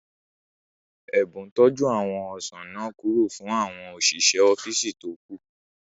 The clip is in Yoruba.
Ẹ̀bùn tọ́ jú àwọn ọsàn náà kúrò fún àwọn òṣìṣẹ́ ọ́físì tó kù